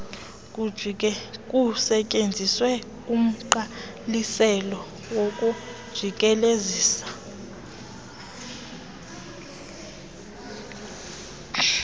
kusetyenziswe umgqaliselo wokujikelezisa